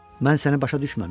Mən səni başa düşməmişdim.